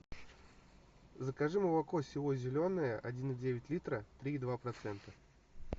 закажи молоко село зеленое один и девять литра три и два процента